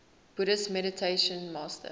buddhist meditation master